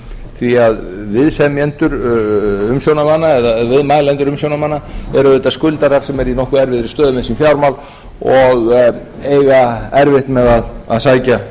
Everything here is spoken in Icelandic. því að viðsemjendur umsjónarmanna eða viðmælendur umsjónarmanna eru auðvitað skuldarar sem eru í nokkuð erfiðri stöðu um sín fjármál og eiga erfitt með að sækja